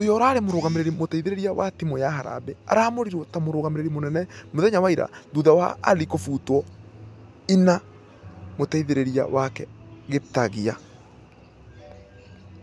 Ũria ũrarĩ mũrũgamĩrĩri mũteithereria wa timũ ya harambee araamũrirwo ta mũrũgamĩrĩri mũnene mũthenya wa ira thutha wa ali kũfutwo ĩna mũteithereria wake gitagia.